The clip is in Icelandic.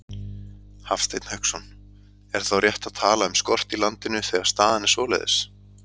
Hafsteinn Hauksson: Er þá rétt að tala um skort í landinu, þegar staðan er svoleiðis?